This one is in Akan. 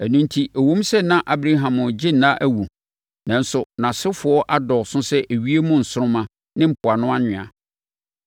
Ɛno enti, ɛwom sɛ na Abraham regye nna awu, nanso nʼasefoɔ adɔɔso sɛ ewiem nsoromma ne mpoano anwea.